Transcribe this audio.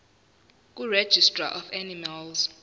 kuregistrar of animals